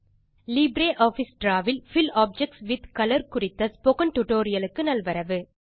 LibreOffice draw வில் fill objects with colour குறித்த spoken டுடோரியலுக்கு நல்வரவு